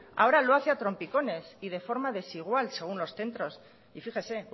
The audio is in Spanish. ahora lo hace a trompicones y de forma desigual según los centros y fíjese